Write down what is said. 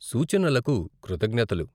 సూచనలకు కృతజ్ఞతలు.